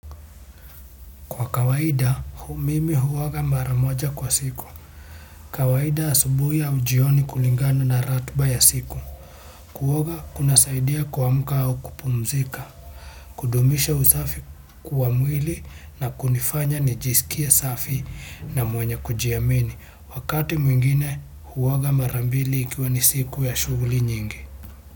Kwa kawaida, hu mimi huoga mara moja kwa siku. Kawaida asubuhi au jioni kulingana na ratiba ya siku. Kuoga, kunasaidia kuamka au kupumzika. Kudumisha usafi kwa mwili na kunifanya nijisikie safi na mwenye kujiamini. Wakati mwingine, huoga mara mbili ikiwa ni siku ya shughuli nyingi.